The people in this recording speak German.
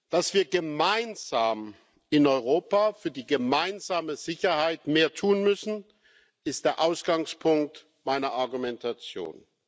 Dass wir gemeinsam in Europa für die gemeinsame Sicherheit mehr tun müssen, ist der Ausgangspunkt meiner Argumentation.